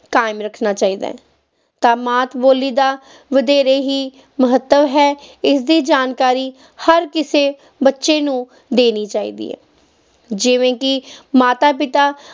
ਕਾਇਮ ਰੱਖਣਾ ਚਾਹੀਦਾ ਹੈ, ਤਾਂ ਮਾਤ ਬੋਲੀ ਦਾ ਵਧੇਰੇ ਹੀ ਮਹੱਤਵ ਹੈ, ਇਸਦੀ ਜਾਣਕਾਰੀ ਹਰ ਕਿਸੇ ਬੱਚੇ ਨੂੰ ਦੇਣੀ ਚਾਹੀਦੀ ਹੈ, ਜਿਵੇਂ ਕਿ ਮਾਤਾ ਪਿਤਾ